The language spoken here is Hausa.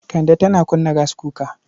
Kande tana kunna gaskuka.